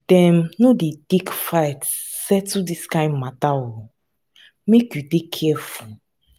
dem no dey take fight settle dis kind mata o make you dey careful.